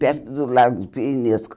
Perto do lago de.